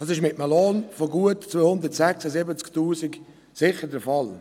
Dies ist mit einem Lohn von gut 276 000 Franken sicher der Fall.